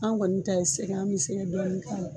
An kɔni ta ye sɛgɛ an bɛ sɛgɛ dɔɔni k'a la.